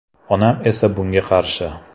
Onam esa bunga qarshi.